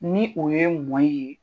Ni o ye ye.